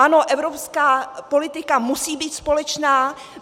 Ano, evropská politika musí být společná.